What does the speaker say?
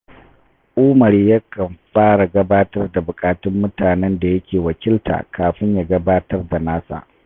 Umar yakan fara gabatar da buƙatun mutanen da yake wakilta kafin ya gabatar da nasa